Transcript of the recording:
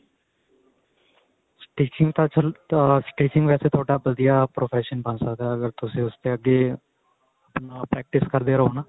stitching ਤਾਂ ਤੁਸੀਂ ਆ stitching ਵੈਸੇ ਤੁਹਾਡਾ ਵਧੀਆ profession ਬਣ ਸਕਦਾ ਅਗਰ ਤੁਸੀਂ ਉਸ ਤੇ ਅੱਗੇ ਨਾਲ practice ਕਰਦੇ ਰਹੋ ਨਾ